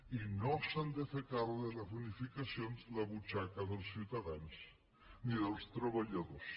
i no s’ha de fer càrrec de les bonificacions la butxaca dels ciutadans ni dels treballadors